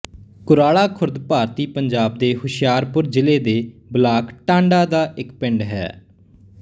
ਕੁਰਾਲਾ ਖੁਰਦ ਭਾਰਤੀ ਪੰਜਾਬ ਦੇ ਹੁਸ਼ਿਆਰਪੁਰ ਜ਼ਿਲ੍ਹੇ ਦੇ ਬਲਾਕ ਟਾਂਡਾ ਦਾ ਇੱਕ ਪਿੰਡ ਹੈ